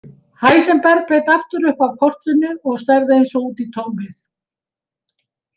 Heisenberg leit aftur upp af kortinu og starði eins og út í tómið.